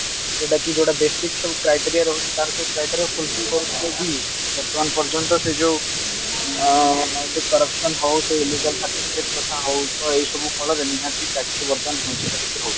ଯୋଉଟା କି ଗୋଟେ basic ସବୁ criteria ରହୁଛି ତାର ସବୁ criteria କରିଥିଲେ ବି ବର୍ତମାନ ପର୍ଯ୍ୟନ୍ତ ସେ ଯୋଉ ଏ corruption ହଉ ସେ illegal certificate କଥା ହଉ ଏଇସବୁ ଫଳରେ ନିହାତି ଚାକିରି ବର୍ତମାନ ବଞ୍ଚିତ ହେଇକି ରହୁଛୁ